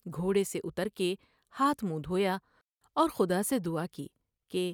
گھوڑے سے اتر کے ہاتھ منہ دھویا اور خدا سے دعا کی کہ ۔